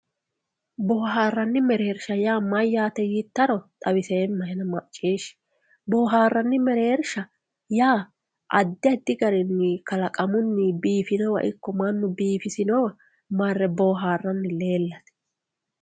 Booharani mereersha mayate yiitaro xawisema maciishi boharani mereersha adi adi garini iko manu biifisinowa iko maganu biifisinowa marre booharani leelate